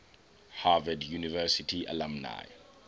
harvard university alumni